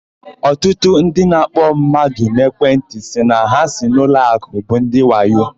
Ọtụtụ ndị na-akpọ mmadụ n'ekwentị sị na ha si n'ụlọakụ bụ ndị wayo.